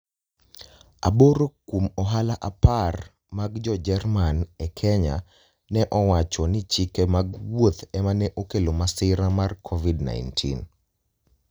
Aboro kuom ohala 10 mag Jo-Jerman e Kenya ne owacho ni chike mag wuoth ema ne okelo masira mar Covid-19.